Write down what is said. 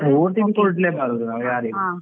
OTP ಕೊಡ್ಲೇಬಾರ್ದು ನಾವು ಯಾರಿಗೂ.